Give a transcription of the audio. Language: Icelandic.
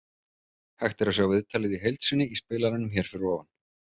Hægt er að sjá viðtalið í heild sinni í spilaranum hér fyrir ofan.